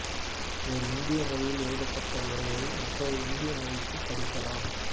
ஒரு இந்திய மொழியில் எழுதப்பட்ட உரையை மற்றொரு இந்திய மொழியில் படிக்கலாம்